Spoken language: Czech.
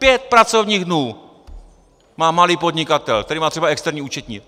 Pět pracovních dnů má malý podnikatel, který má třeba externí účetní!